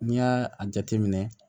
N'i y'a a jateminɛ